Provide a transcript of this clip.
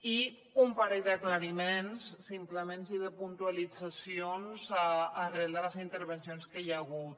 i un parell d’aclariments simplement i de puntualitzacions arran de les intervencions que hi ha hagut